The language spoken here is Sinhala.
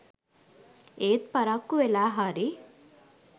එත් පරක්කු වෙලා හරි